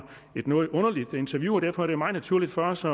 et noget underligt interview og derfor er det meget naturligt for os